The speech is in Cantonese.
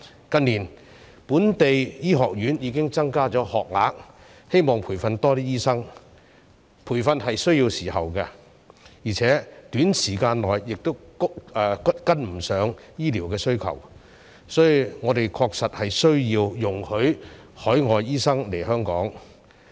近年，本地醫學院已經增加學額，希望培訓多一些醫生，但培訓需要時間，而且短時間內亦跟不上醫療需求，所以我們確實需要容許海外醫生來港。